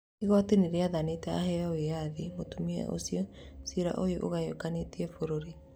Igooti nĩarathanĩte aheo wĩyathi mutumia ũcio cira ũrĩa ũgayũkanĩtie bũrũri